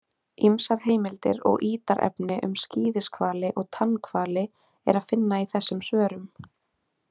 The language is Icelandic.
Ýmsar heimildir og ítarefni um skíðishvali og tannhvali er að finna í þessum svörum.